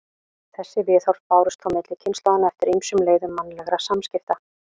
Þessi viðhorf bárust þó milli kynslóðanna eftir ýmsum leiðum mannlegra samskipta.